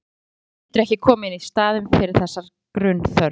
Samneyti við menn getur ekki komið í staðinn fyrir þessa grunnþörf.